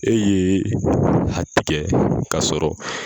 E ye a k'a sɔrɔ